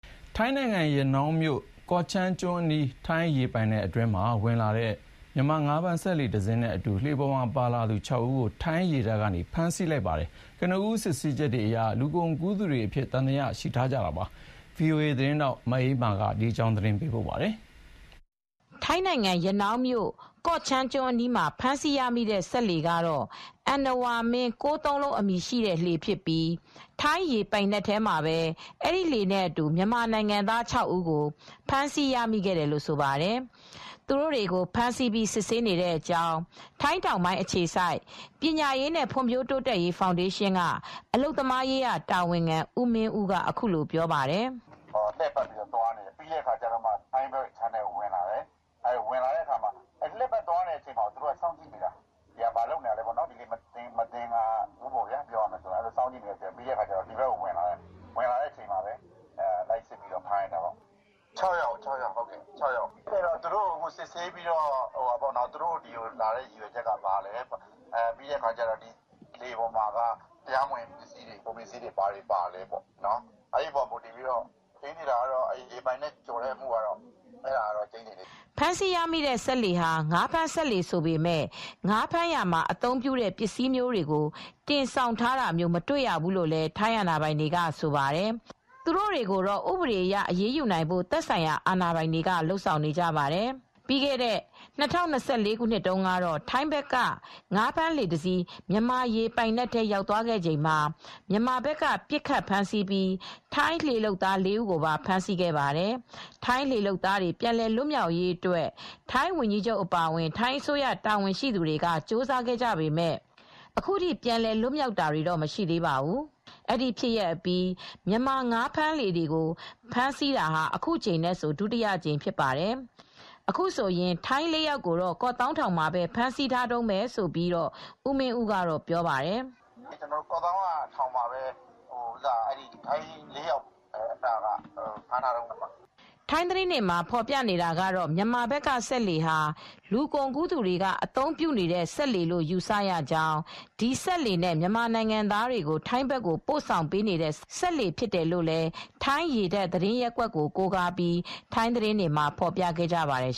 ထိုင်းနိုင်ငံ၊ ရနောင်းမြို့၊ ကော့ချန်းကျွန်းအနီး ထိုင်းရေပိုင်နက် အတွင်းကိုဝင်လာတဲ့ မြန်မာငါးဖမ်း စက်လှေတစီးနဲ့အတူ လှေပေါ်မှာလိုက်ပါလာသူ ၆ ဦးကို ထိုင်းရေတပ်က ဖမ်းဆီးထားပါတယ်။ ကနဦး စစ်ဆေးချက်တွေအရ လူကုန်ကူးသူတွေအဖြစ် သံသယရှိထားကြောင်းလည်း ပြောဆိုထားပါတယ်။ ဗွီအိုအေ သတင်းထောက် မအေးအေးမာ သတင်းပေးပို့ထားပါတယ်။ ထိုင်းနိုင်ငံ၊ ရနောင်းမြို့၊ ကော့ချန်းကျွန်းအနီးမှာ ဖမ်းဆီးရမိတဲ့စက်လှေကတော့ အဏ္ဏဝါမင်း ၉၉၉ အမည်ရှိတဲ့လှေဖြစ်ပြီး ထိုင်းရေပိုင်နက်ထဲမှာပဲ အဲဒီလှေနဲ့အတူ မြန်မာနိုင်ငံသား ဦးကို ဖမ်းဆီးရမိခဲ့တယ်လို့ ဆိုပါတယ်။ သူတို့တွေကိုဖမ်းဆီးပြီးစစ်ဆေးနေတဲ့အကြောင်း ထိုင်းတောင်ပိုင်းအခြေစိုက်ပညာရေးနဲ့ဖွံဖြိုးတိုးတက်ရေးဖောင်ဒေးရှင်းကအလုပ်သမားရေးရာတာဝန်ခံ ဦးမင်းဦးကအခုလိုပြောပါတယ်။ " လှည့်ပတ်သွားနေတယ်၊ ထိုင်းဘက်ခြမ်းကိုဝင်လာတယ်၊ ဝင်လာချိန်မှာလှည့်ပတ်သွားချိန်မှာပဲစောင့်ကြည့်နေတာ မသင်္ကာဘူး။ ပြီးတော့ထိုင်းဘက်ကို ဝင်လာတယ်။ ၆ယောက်ကိုဖမ်းလိုက်တယ်။ အခုသူတို့ကိုစစ်ဆေးနေတယ်။ သူတို့ထိုင်းဘက်ကိုဝင်လာတဲ့ရည်ရွယ်ချက်ကဘာလဲဆိုတာရယ်၊ လှေပေါ်မှာဘာကုန်ပစ္စည်းတွေပါသလဲဆိုတာစစ်ဆေးနေတယ်။ ရေပိုင်နက်ကို ကျော်တဲ့အမှုကတော့ကျိန်းသေနေပြီ" ဖမ်းဆီးရမိတဲ့စက်လှေဟာ ငါးဖမ်းစက်လှေဆိုပေမယ့် ငါးဖမ်းရာမှာ အသုံးပြုတဲ့ ပစ္စည်းမျိုးတွေကို တင်ဆောင်တာမျိုးကို မတွေ့ရဘူးလို့လည်း ထိုင်းအာဏာပိုင်တွေကကဆိုပါတယ်။ သူတို့တွေကိုတော့ ဥပဒေအရ အရေးယူနိုင်ဖို့ သက်ဆိုင်ရာအာဏာပိုင်တွေက လုပ်ဆောင်နေပါတယ်။ ပြီးခဲ့တဲ့ ၂၀၂၄ခုနှစ်တုန်းကတော့ ထိုင်းဘက်က ငါးဖမ်းလှေတစီး မြန်မာရေပိုင်နက်ထဲရောက်သွားခဲ့ချိန်မှာမြန်မာဘက်က ပစ်ခတ်ဖမ်းဆီးခဲ့ပြီး ထိုင်းလှေလုပ်သား ၄ဦးကိုပါဖမ်းဆီးခဲ့ပါတယ်။ ထိုင်းလှေလုပ်သားတွေပြန်လွတ်မြောက်ရေးအတွက် ထိုင်းဝန်ကြီးချုပ်အပါအဝင် ထိုင်းအစိုးရတာဝန်ရှိသူတွေကြိုးစားခဲ့ပေမယ့် အခုထိပြန်လွတ်မြောက်တာတော့မရှိသေးပါဘူး။ ဒီဖြစ်ရပ်အပြီးမြန်မာဘက်ကလှေတွေကို ဖမ်းဆီးတာဟာအခု တကြိမ်ဟာ ဒုတိယမြောက်ဖြစ်ပါတယ်။ အခုဆိုရင်ထိုင်းနိုင်ငံသား၄ယောက်ကိုကော့သောင်းထောင်မှာဖမ်းဆီးထားတုန်းပဲလို့ ဦးမင်းဦးကပြောပါတယ်။ "ထိုင်းဘက်ကလူတွေကတော့ ၄ယောက်ကတော့ကော့သောင်းထောင်မှာပဲဖမ်းထားတုန်းပါပဲ" ထိုင်းသတင်းတွေမှာဖေါ်ပြနေတာကတော့ အခုမြန်မာဘက်က စစ်လှေဟာ လူကုန်ကူးသူတွေကအသုံးပြုနေတဲ့ စစ်လှေလို့ယူဆရကြောင်း ဒီစစ်လှေနဲ့ မြန်မာနိုင်ငံသားတွေကို ထိုင်းဖက်ကိုပို့ဆောင်ပေးနေတဲ့ စစ်လှေဖြစ်တယ်လို့လည်း ထိုင်းရေတပ် သတင်းရပ်ကွက်ကို ကိုးကားပြီး ထိုင်းသတင်းတွေမှာဖော်ပြခဲ့ပါတယ်